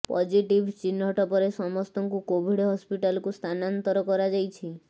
positive ଚିହ୍ନଟ ପରେ ସମସ୍ତଙ୍କୁ କୋଭିଡ୍ ହସ୍ପିଟାଲକୁ ସ୍ଥାନାନ୍ତର କରାଯାଇଛି